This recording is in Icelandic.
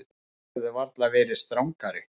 Þið hefðuð varla verið strangari.